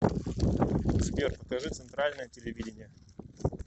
сбер покажи центральное телевидение